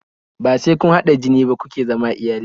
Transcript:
Bai sai kun hada jini ba kuke zama iyali